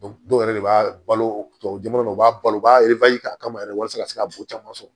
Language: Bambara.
dɔw yɛrɛ de b'a balo tubabu jamana na u b'a balo u b'a k'a kama yɛrɛ walasa ka se ka bo caman sɔrɔ